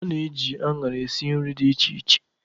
A na-eji anara esi nri dị iche iche.